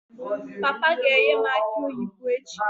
Papa ga-enye m aki oyibo echi